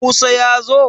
Musa ya zo?